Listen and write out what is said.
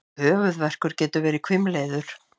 Höfuðverkur getur verið hvimleiður.